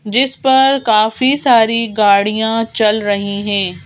जिस पर काफी सारी गाड़ियां चल रही हैं।